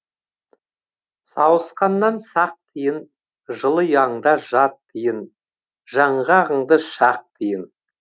сауысқаннан сақ тиін жылы ұяңда жат тиін жаңғағыңды шақ тиін